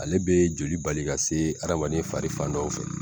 Ale bɛ joli bali ka se adamaden fari fan dɔw fɛ.